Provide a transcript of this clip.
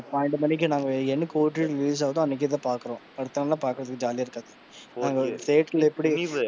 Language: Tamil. பன்னிரண்டு மணிக்கு நாங்க என்னைக்கு OTT ல release ஆகுதோ அன்னைக்கேதா பாக்குறோம். அடுத்த நாளெல்லாம் பாக்குறததுக்கு ஜாலியா இருக்காது, நாங்க ஒரு,